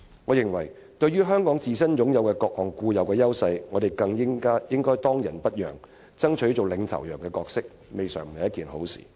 我認為，對香港自身擁有的各項固有優勢，我們更應當仁不讓，爭取當"領頭羊"的角色，這未嘗不是好事。